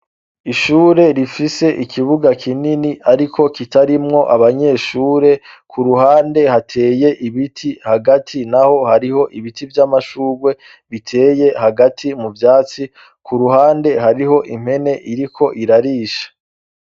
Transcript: Ishure rifise ikibuga kinini ariko kitarimwo abanyeshure, ku ruhande hateye ibiti, hagati naho hariho ibiti vy' amashurwe biteye hagati mu vyatsi, ku ruhande hariho impene iriko irarisha.